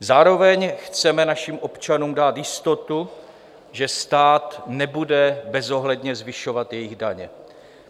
Zároveň chceme našim občanům dát jistotu, že stát nebude bezohledně zvyšovat jejich daně.